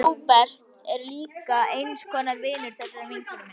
Róbert er líka eins konar vinur þessarar vinkonu minnar.